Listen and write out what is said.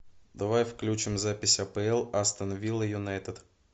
давай включим запись апл астон вилла юнайтед